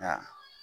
Ka